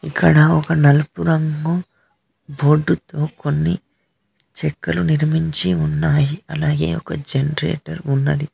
ఇక్కడ ఒక నలుపు రంగు బోర్డు తో కొన్ని చెక్కలు నిర్మించి ఉన్నాయి అలాగే ఒక జనరేటర్ ఉన్నది.